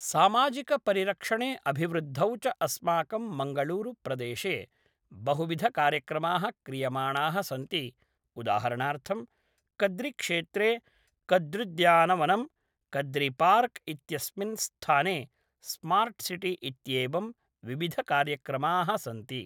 सामाजिकपरिरक्षणे अभिवृद्धौ च अस्माकं मङ्गलूरु प्रदेशे बहुविधकार्यक्रमाः क्रियमाणाः सन्ति उदाहरणार्थं कद्रिक्षेत्रे कद्र्युद्यानवनं कद्रिपार्क् इत्यस्मिन् स्थाने स्मार्ट् सिटि इत्येवं विविधकार्यक्रमाः सन्ति